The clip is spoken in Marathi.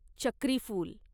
चक्रीफुल